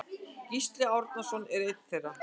Gísli Árnason er einn þeirra.